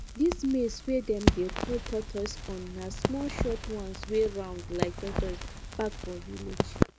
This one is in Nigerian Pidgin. dis maize wey dem dey call tortoise corn na small short one wey round like tortoise back for village